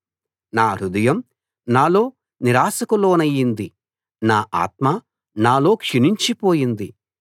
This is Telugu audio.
నా హృదయం నాలో నిరాశకులోనైంది నా ఆత్మ నాలో క్షీణించిపోయింది